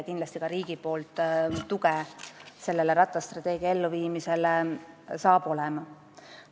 Kindlasti saab see rattastrateegia elluviimine ka riigilt tuge.